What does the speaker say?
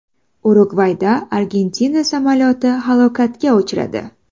Urugvayda Argentina samolyoti halokatga uchradi.